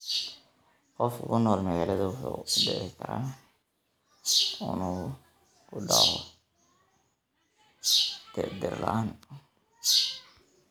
Qof ku nool magaalada wuxuu u dhici karaa inuu ku dhaco dhir la�aan.